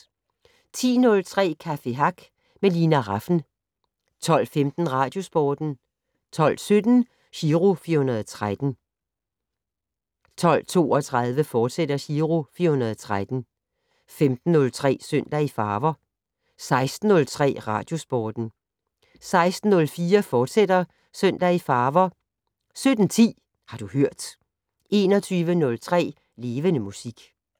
10:03: Café Hack med Lina Rafn 12:15: Radiosporten 12:17: Giro 413 12:32: Giro 413, fortsat 15:03: Søndag i Farver 16:03: Radiosporten 16:04: Søndag i Farver, fortsat 17:10: Har du hørt 21:03: Levende Musik